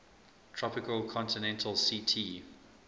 tropical continental ct